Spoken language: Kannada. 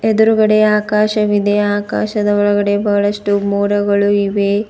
ಎದುರುಗಡೆ ಆಕಾಶವಿದೆ ಆಕಾಶದ ಒಳಗಡೆ ಬಹಳ್ಟು ಮೋಡಗಳು ಇವೆ.